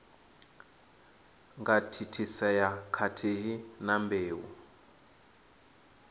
nga thithisea khathihi na mbeu